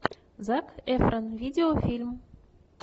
зак эфрон видеофильм